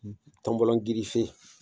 Ni tɔnbɔlɔ gerefe